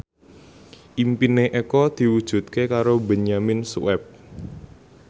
impine Eko diwujudke karo Benyamin Sueb